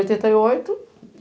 Chegou oitenta e oito.